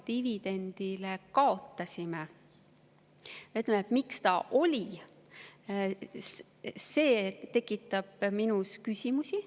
Miks see üldse oli, see tekitab minus küsimusi.